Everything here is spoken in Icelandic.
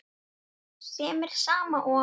sem er sama og